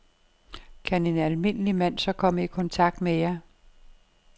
Kan en almindelig mand så komme i kontakt med jer?